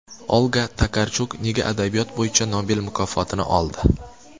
Olga Tokarchuk nega adabiyot bo‘yicha Nobel mukofotini oldi?